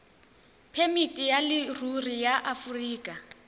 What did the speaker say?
phemiti ya leruri ya aforika